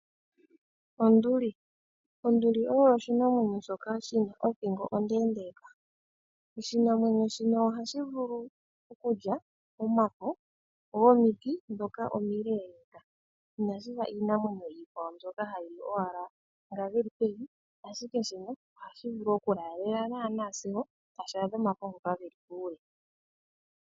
Onduli, onduli oyo oshinamwenyo shoka shina othingo ondeendeka oshinamwenyo shino ohashi vulu okulya omafo gomiti dhoka omileeleka. Inashifa iinamwenyo nzoka iikwawo hayili owala ngoka geli pevi, ashike shino ohashi vulu okulaalela naana sigo tashi adha omafo ngoka geli pokule.